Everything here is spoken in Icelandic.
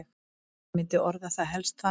Ég myndi orða það helst þannig.